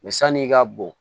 san'i ka bon